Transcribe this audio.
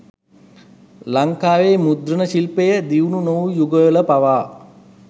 ලංකාවේ මුද්‍රණ ශිල්පය දියුණු නොවූ යුගවල පවා